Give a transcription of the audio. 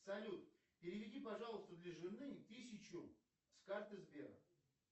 салют переведи пожалуйста для жены тысячу с карты сбера